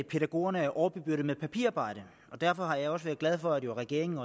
pædagogerne er overbebyrdet med papirarbejde og derfor har jeg også været glad for at regeringen